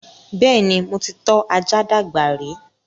Bẹ́ẹ̀ni, mo ti tọ́ ajá dàgbà rí